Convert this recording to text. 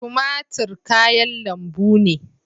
Tumatur kayan lambu ne.